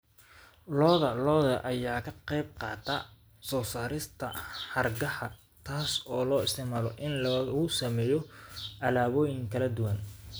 Lo'da lo'da ayaa ka qayb qaata soo saarista hargaha, taas oo loo isticmaalo in lagu sameeyo alaabooyin kala duwan.